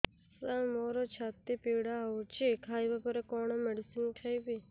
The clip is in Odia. ସାର ମୋର ଛାତି ପୀଡା ହଉଚି ଖାଇବା ପରେ କଣ ମେଡିସିନ ଖାଇବି